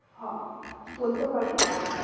হ বলতে পারি।